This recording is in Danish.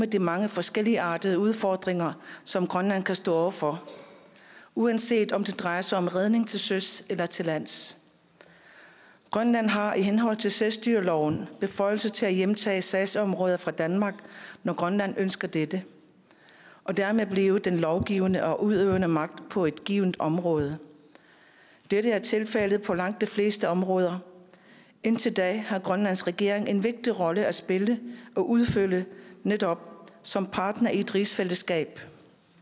de mange forskelligartede udfordringer som grønland kan stå over for uanset om det drejer sig om redning til søs eller til lands grønland har i henhold til selvstyreloven beføjelse til at hjemtage sagsområder fra danmark når grønland ønsker dette og dermed blive den lovgivende og udøvende magt på et givent område dette er tilfældet for langt de fleste områder indtil da har grønlands regering en vigtig rolle at spille og udfylde netop som partner i et rigsfællesskab